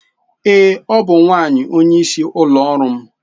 Ee, ọ bụ nwanyị onyeisi ụlọ ọrụ m.